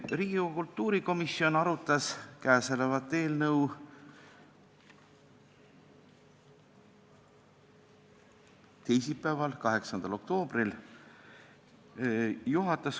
Riigikogu kultuurikomisjon arutas käesolevat eelnõu teisipäeval, 8. oktoobril.